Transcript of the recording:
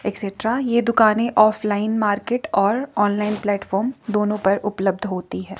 ये दुकाने offline market और ऑनलाइन प्लेटफॉर्म दोनों पर उपलब्ध होती हैं।